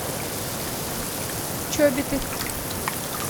чобиты